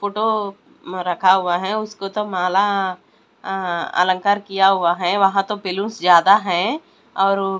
photo रखा हुआ है उसको तो माला अ अलंकार किया हुआ है वहां तो बैलूंस ज्यादा है और--